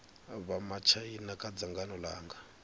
vha matshaina kha dzangano langa